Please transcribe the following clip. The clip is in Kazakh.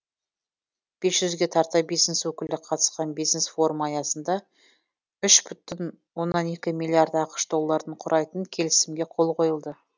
бес жүзге тарта бизнес өкілі қатысқан бизнес форум аясында үш бүтін оннан екі миллиард ақш долларын құрайтын келісімге қол қойылды